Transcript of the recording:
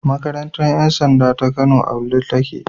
Makarantar 'yansanda taka Kano a Wudil take.